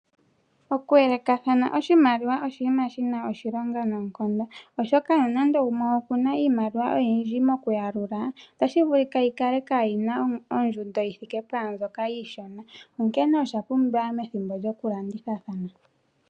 Oku yelekathana oshimaliwa oshinima shi na oshilonga noonkondo oshoka, uuna gumwe ena iimaliwa oyiindji mokuyalula, ota shi vulika yi ka le kaayina ondjundo ,yi thike pwaambyoka iishona. Onkene osha pumbiwa methimbo lyo ku landithathana.